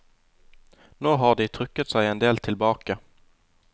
Nå har de trukket seg en del tilbake.